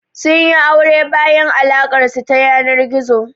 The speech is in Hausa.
Sun yi aure bayan alaƙar su ta yanar gizo.